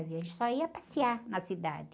A gente só ia passear na cidade.